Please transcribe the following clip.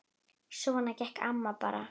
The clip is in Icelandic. Svona gekk amma bara.